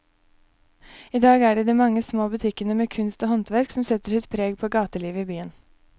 I dag er det de mange små butikkene med kunst og håndverk som setter sitt preg på gatelivet i byen.